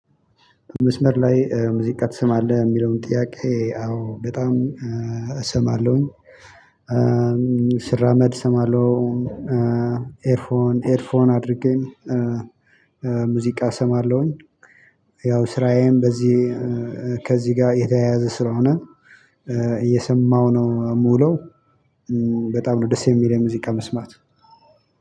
በመስመር ላይ ሙዚቃ ትስማለህ የሚለውን ጥያቄ አዎ በጣም እሰማለሁኝ። ስራመድ ሰማለው። ኤርፎን ኤድ ፎን አድርጌ ሙዚቃ እሰማለሁኝ። ያው ስራዬም በዚህ ከዚህ ጋር የተያያዘ ስለሆነ እየሰማሁ ነው እምውለው። በጣም ነው ደስ የሚለኝ ሙዚቃ መስማት።